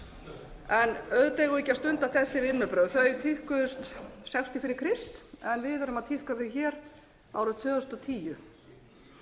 eigum við ekki að stunda þessi vinnubrögð þau tíðkuðust sextíu fyrir krist en við erum að tíðka þau árið tvö þúsund og tíu